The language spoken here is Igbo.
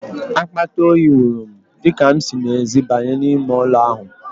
Akpata oyi wụrụ m, dịka m si n'ezi banye n'ime ụlọ ahụ.